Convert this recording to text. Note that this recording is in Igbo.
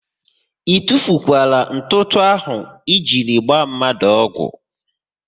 I tufukwara ntụtụ áhụ̀ i jiri gbaa mmadụ ọgwụ?